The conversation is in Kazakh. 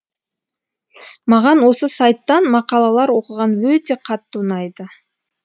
маған осы сайттан мақалалар оқыған өте қатты ұнайды